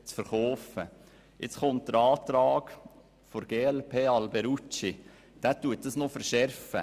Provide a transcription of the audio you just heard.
Nun kommt der Antrag der glp-Fraktion, der dies noch verschärft.